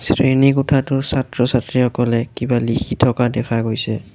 শ্ৰেণী কোঠাটোৰ ছাত্ৰ-ছাত্ৰীসকলে কিবা লিখি থকা দেখা গৈছে।